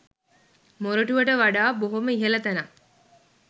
මොරටුවට වඩා බොහොම ඉහල තැනක්.